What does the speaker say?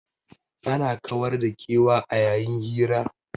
Ana kawar da kewa a yayin hira.